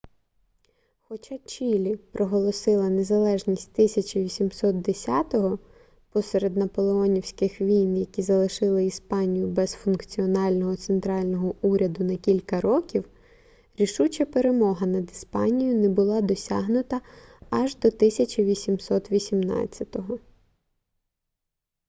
хоча чілі проголосила незалежність 1810-го посеред наполеонівських війн які залишили іспанію без функціонального центрального уряду на кілька років рішуча перемога над іспанією не була досягнута аж до 1818-го